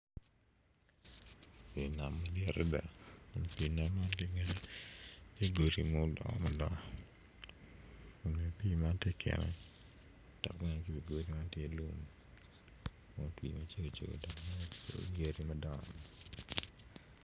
Pii nam madit adida kun pii nam man ki gudi ma odongo mabor kun bene pii man ti keken dok bene i i wi godi tye lum ma otwii macego cego dok ki yen madongo